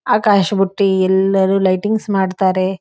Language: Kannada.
ಆಕಾಶ ಬುತ್ತಿ ಎಲ್ಲಾರು ಲೈಟಿಂಗ್ಸ್ ಮಾಡ್ತಾರೆ.